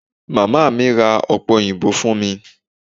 Màmá mi ra ọ̀pẹ òyìnbó fún mi.